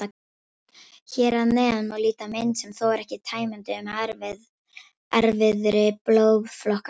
Hér að neðan má líta mynd, sem þó er ekki tæmandi, um erfðir blóðflokkanna.